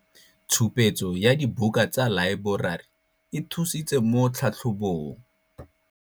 Tshupetso ya dibuka tsa laeborari e thusitse mo tlhatlhobong.